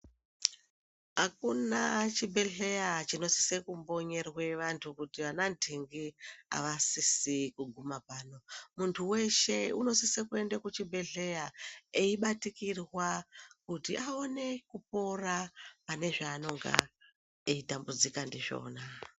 Akuna chibhehleya chinosise kukonyerwe vantu kuti vana nhtingi asisi kuguma pano ,muntu weshe unosise kuende kuchibhehleya eibatikirwa kuti aone kupora pane zvaanenge eitambudzika ndizvona .